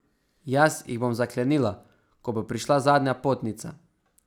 Jaz jih bom zaklenila, ko bo prišla zadnja potnica.